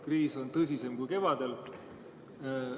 Kriis on tõsisem kui kevadel.